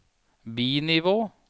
bi-nivå